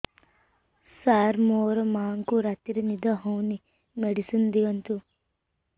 ସାର ମୋର ମାଆଙ୍କୁ ରାତିରେ ନିଦ ହଉନି ମେଡିସିନ ଦିଅନ୍ତୁ